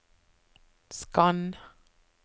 skann